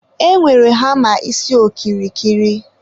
e nwere hama isi okirikiri.